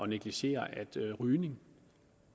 negligere at rygning